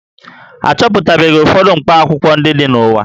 A chọpụtabeghị ụfọdụ mkpakwụkwọ ndị dị n'ụwa